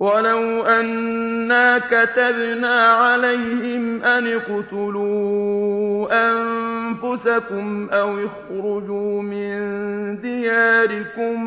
وَلَوْ أَنَّا كَتَبْنَا عَلَيْهِمْ أَنِ اقْتُلُوا أَنفُسَكُمْ أَوِ اخْرُجُوا مِن دِيَارِكُم